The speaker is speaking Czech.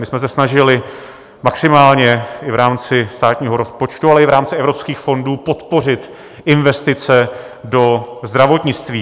My jsme se snažili maximálně i v rámci státního rozpočtu, ale i v rámci evropských fondů podpořit investice do zdravotnictví.